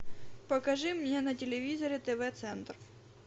покажи мне на телевизоре тв центр